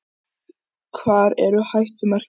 Hvar eru hættumerkin?